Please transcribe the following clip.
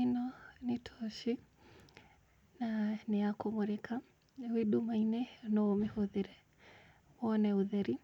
Ĩno nĩ toci na nĩ ya kũmũrĩka. Wĩ ndũmainĩ no ũmĩhũthĩre wone ũtheri